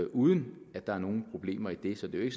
uden at der er nogen problemer i det så det er